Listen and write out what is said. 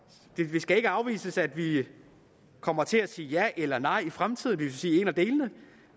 det skal ikke afvises at vi kommer til at sige ja eller nej i fremtiden det vil sige en af delene